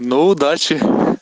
ну удачи